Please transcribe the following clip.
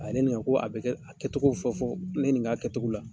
A ye ne ɲininka ko a bɛ kɛ a kɛcogow fɔ fɔ ne ɲininka a kɛcogow la.